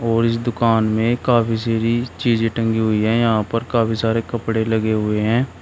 और इस दुकान में काफी सारी चीज़ें टंगी हुई है यहां पर काफी सारे कपड़े लगे हुए हैं।